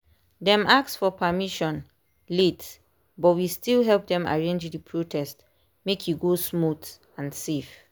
dem ask for permission late but we still help them arrange the protest make e go smooth and safe.